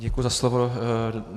Děkuji za slovo.